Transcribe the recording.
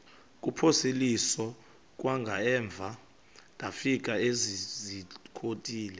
kuphosiliso kwangaemva ndafikezizikotile